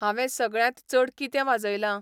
हांवें सगळ्यांत चड कितें वाजयलां?